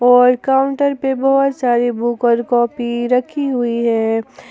और काउंटर पे बहुत सारी बुक और कॉपी रखी हुई है ।